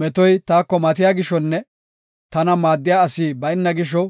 Metoy taako matiya gishonne tana maaddiya asi bayna gisho,